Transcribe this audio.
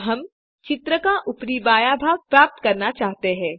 अब हम चित्र का ऊपरी बायाँ भाग प्राप्त करना चाहते हैं